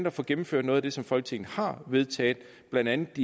at få gennemført noget af det som folketinget har vedtaget blandt andet